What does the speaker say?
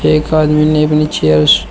एक आदमी ने अपनी चेयर्स --